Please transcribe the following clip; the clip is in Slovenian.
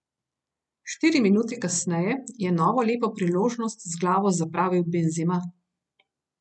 Štiri minute kasneje je novo lepo priložnost z glavo zapravil Benzema.